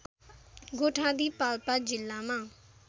गोठादी पाल्पा जिल्लामा